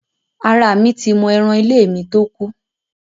Ara mi ti mọ́ eran ilé mi tó kú.